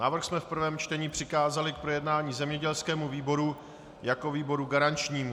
Návrh jsme v prvém čtení přikázali k projednání zemědělskému výboru jako výboru garančnímu.